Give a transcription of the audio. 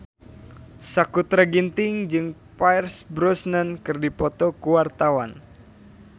Sakutra Ginting jeung Pierce Brosnan keur dipoto ku wartawan